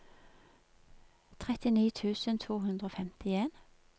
trettini tusen to hundre og femtien